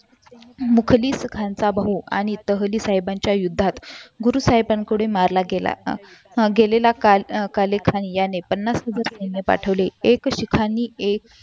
मुकलीस हंसा बहु आणि तहलि साहेबांच्या यांच्या युद्धात गुरु साहेबांकडून मारण्यात गेला गेलेला कालीद खान याने पन्नास खुदेसांनी सैन्य पाठवले एक सिखांनी एक